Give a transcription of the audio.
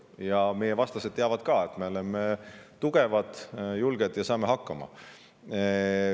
Ja meie vastased teavad ka, et me oleme tugevad ja julged ning saame hakkama.